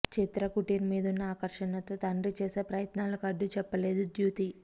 చిత్రకుటీర్ మీదున్న ఆకర్షణతో తండ్రి చేసే ప్రయత్నాలకు అడ్డు చెప్పలేదు ధ్యుతి